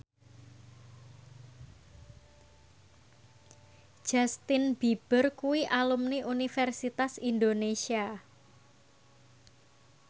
Justin Beiber kuwi alumni Universitas Indonesia